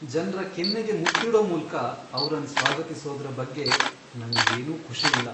ಜನ್ರ ಕೆನ್ನೆಗೆ ಮುತ್ತಿಡೊ ಮೂಲ್ಕ ಅವ್ರನ್ ಸ್ವಾಗತಿಸೋದ್ರ ಬಗ್ಗೆ ನಂಗ್ ಏನು ಖುಷಿ ಇಲ್ಲ.